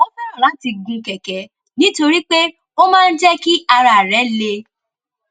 ó fẹràn láti gun kèké nítorí pé ó máa ń jé kí ara rè le